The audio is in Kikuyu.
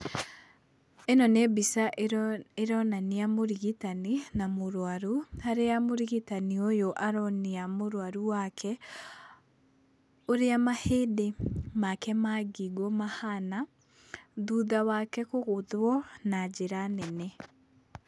Ĩno nĩ mbica ĩronania mũrigitani, na mũrwaru, harĩa mũrigitani ũyũ aronia mũrwaru wake, ũrĩa mahĩndĩ make ma ngingo mahana, thutha wake kũgũthwo na njĩra nene.